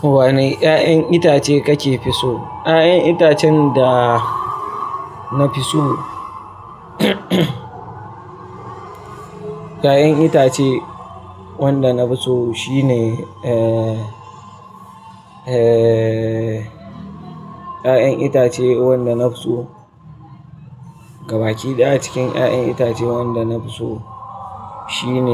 Wane 'ya'yan itace kake fi so? 'Ya'yan itacen da na fi so 'Ya'yan itace wanda na fi so shine, eh, eh, 'ya'yan itace wanda na fi so, gabaki ɗaya a cikin 'ya'yan itace wanda na fi so shine,